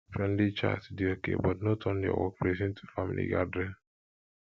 friendly chat dey okay but no turn turn your workplace into family gathering